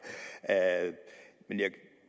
men jeg